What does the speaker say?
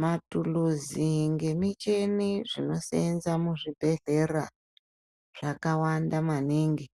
Mathuluzi ngemicheni zvinoseenza muzvibhedhlera, zvakawanda maningi.